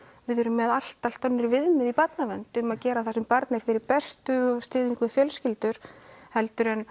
við erum með allt allt önnur viðmið í barnavernd um að gera það sem barni er fyrir bestu og stuðning við fjölskyldur heldur en